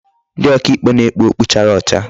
Ndi oka ikpe na-ekpu okpu chara ocha.